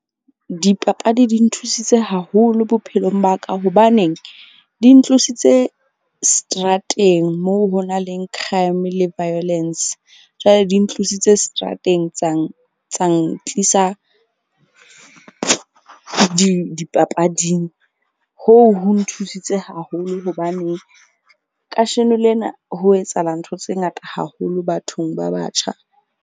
Dipapadi di nthusitse haholo bophelong ba ka. Hobaneng di ntlositse seterateng moo ho na leng crime le violence. Jwale di ntlositse seterateng tsa ntlisa dipapading hoo ho nthusitse haholo. Hobaneng kasheno lena ho etsahala ntho tse ngata haholo bathong ba batjha.